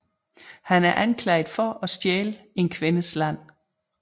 Han er anklaget for at stjæle en kvindes land